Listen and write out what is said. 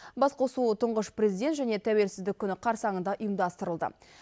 басқосу тұңғыш президент және тәуелсіздік күні қарсаңында ұйымдастырылды